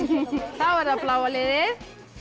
er það bláa liðið